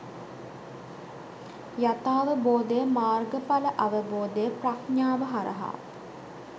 යථාවබෝධය, මාර්ගඵල අවබෝධය ප්‍රඥාව හරහා